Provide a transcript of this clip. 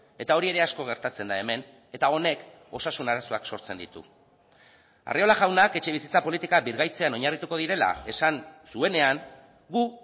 eta hori ere asko gertatzen da hemen eta honek osasun arazoak sortzen ditu arriola jaunak etxebizitza politika birgaitzean oinarrituko direla esan zuenean gu